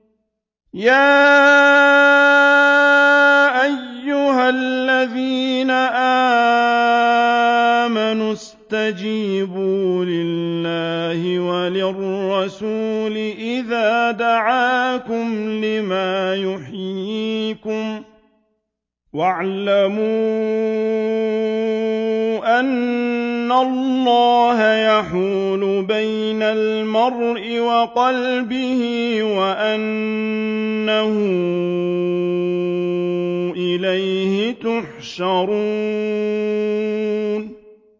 يَا أَيُّهَا الَّذِينَ آمَنُوا اسْتَجِيبُوا لِلَّهِ وَلِلرَّسُولِ إِذَا دَعَاكُمْ لِمَا يُحْيِيكُمْ ۖ وَاعْلَمُوا أَنَّ اللَّهَ يَحُولُ بَيْنَ الْمَرْءِ وَقَلْبِهِ وَأَنَّهُ إِلَيْهِ تُحْشَرُونَ